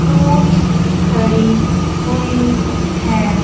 Fruits खड़ी हुईं हैं।